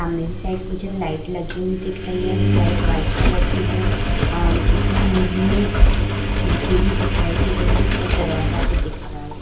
सामने की साइड मुझे लाइट लगी हुई दिख रही है। लाइट व्हाइट कलर की है। अ इसमें मुझे खिड़की भी दिखाई दे रही है और दरवाजा भी दिख रहा है ।